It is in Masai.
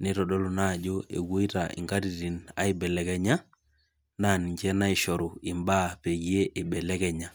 nitodolu naa ajo apoito inkatitin aibelekenya naa ninche naishoru peeyie ibelekenya.